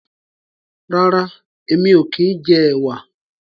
rera èmi ọ kín jẹ ẹwà.